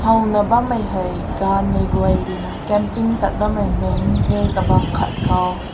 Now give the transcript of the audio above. koi na bam meh hai gan mai you camping thut bam meh mek hae kabang kat kaw.